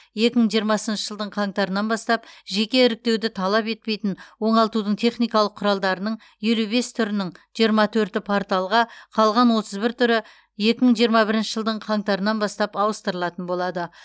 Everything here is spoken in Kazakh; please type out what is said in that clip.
екі мың жиырмасыншы жылдың қаңтарынан бастап жеке іріктеуді талап етпейтін оңалтудың техникалық құралдарының елу бес түрінің жиырма төрті порталға қалған отыз бір түрі екі мың жиырма бірінші жылдың қаңтарынан бастап ауыстырылатын болады